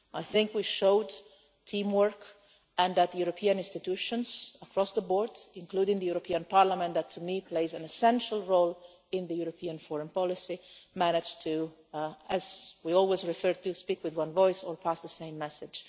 files. I think we showed teamwork and that the European institutions across the board including the European Parliament that to me plays an essential role in European foreign policy managed to, as we always say, speak with one voice or pass the same message.